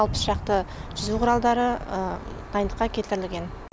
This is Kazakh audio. алпыс шақты жүзу құралы дайындыққа келтірілген